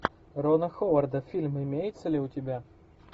рона ховарда фильм имеется ли у тебя